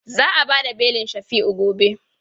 Za a ba da belin Shafi'u gobe.